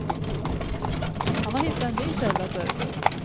Han har hittat en ny källa att ösa ur.